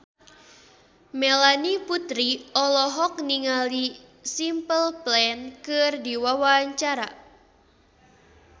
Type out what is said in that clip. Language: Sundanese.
Melanie Putri olohok ningali Simple Plan keur diwawancara